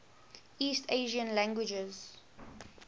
east asian languages